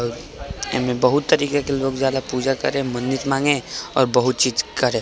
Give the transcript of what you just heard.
एमे बहुत ही तरीके के लोग जारय पूजा करे मन्नत मागे और बहुत चीज करे |